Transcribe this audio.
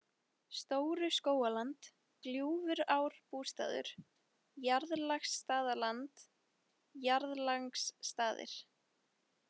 Stóru-Skógaland, Gljúfurárbústaður, Jarðlangsstaðaland, Jarðlangsstaðir